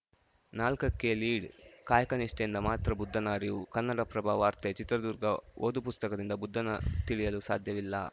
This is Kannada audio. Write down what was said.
ನಾಲ್ಕಕ್ಕೆಲೀಡ್‌ಕಾಯಕ ನಿಷ್ಠೆಯಿಂದ ಮಾತ್ರ ಬುದ್ಧನ ಅರಿವು ಕನ್ನಡಪ್ರಭ ವಾರ್ತೆ ಚಿತ್ರದುರ್ಗ ಓದು ಪುಸ್ತಕದಿಂದ ಬುದ್ಧನ ತಿಳಿಯಲು ಸಾಧ್ಯವಿಲ್ಲ